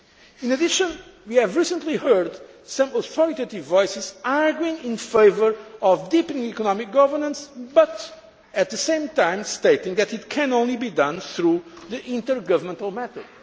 gaps. In addition, we have recently heard some authoritative voices arguing in favour of deepening economic governance, but at the same time stating that it can only be done through the intergovernmental